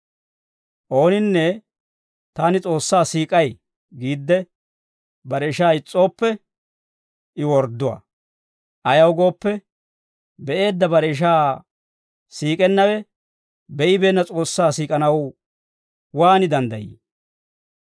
Ooninne, «Taani S'oossaa siik'ay» giidde bare ishaa is's'ooppe, I wordduwaa. Ayaw gooppe, be'eedda bare ishaa siik'ennawe be'ibeenna S'oossaa siik'anaw waan danddayii?